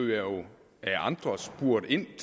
lukket helt